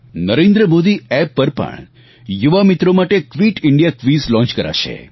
Narendra Modi app પર પણ યુવા મિત્રો માટે ક્વીટ ઇન્ડિયા ક્વિઝ શરુ કરાશે